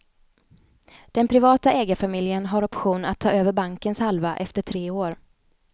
Den privata ägarfamiljen har option att ta över bankens halva efter tre år.